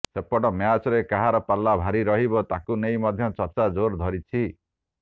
ସେପଟେ ମ୍ୟାଚରେ କାହାର ପଲ୍ଲା ଭାରି ରହିବ ତାକୁ ନେଇ ମଧ୍ୟ ଚର୍ଚ୍ଚା ଜୋର ଧରିଛି